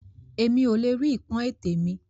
Èmi o le rí ipọn ètè mi.